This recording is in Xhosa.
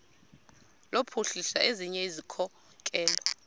kuphuhlisa ezinye izikhokelo